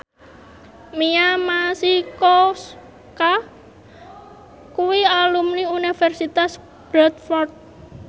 Mia Masikowska kuwi alumni Universitas Bradford